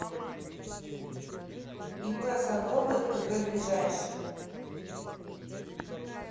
ип садовой кг ближайший